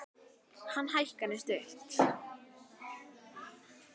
En hækan er stutt.